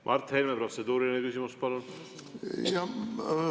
Mart Helme, protseduuriline küsimus, palun!